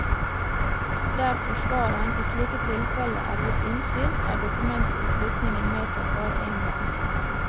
Der forsvareren i slike tilfeller er gitt innsyn, er dokumentet i slutningen medtatt bare én gang.